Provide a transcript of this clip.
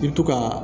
I bi to ka